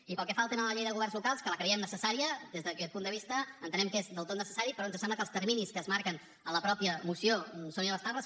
i pel que fa al tema de la llei de governs locals que la creiem necessària des d’aquest punt de vista entenem que és del tot necessari però ens sembla que els terminis que es marquen en la mateixa moció són inabastables